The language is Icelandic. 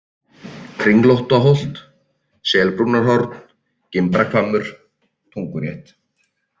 Kringlóttaholt, Selbrúnarhorn, Gimbrahvammur, Tungurétt